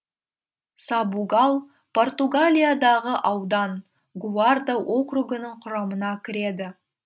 сабугал португалиядағы аудан гуарда округінің құрамына кіреді